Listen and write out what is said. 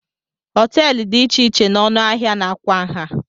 Hoteelu dị iche iche na ọnụ ahịa na kwa nha.